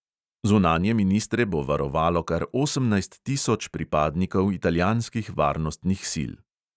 Zunanje ministre bo varovalo kar osemnajst tisoč pripadnikov italijanskih varnostnih sil.